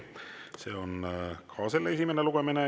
See on ka selle esimene lugemine.